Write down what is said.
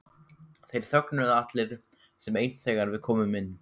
Þeir þögnuðu allir sem einn þegar við komum inn.